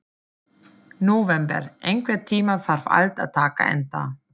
Nóvember, einhvern tímann þarf allt að taka enda.